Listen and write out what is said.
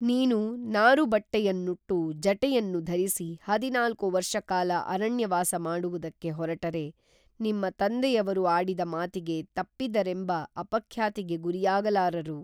ನೀನು ನಾರುಬಟ್ಟೆಯನ್ನುಟ್ಟು ಜಟೆಯನ್ನು ಧರಿಸಿ ಹದಿನಾಲ್ಕು ವರ್ಷಕಾಲ ಅರಣ್ಯವಾಸ ಮಾಡುವುದಕ್ಕೆ ಹೊರಟರೆ ನಿಮ್ಮ ತಂದೆಯವರು ಆಡಿದ ಮಾತಿಗೆ ತಪ್ಪಿದರೆಂಬ ಅಪಖ್ಯಾತಿಗೆ ಗುರಿಯಾಗಲಾರರು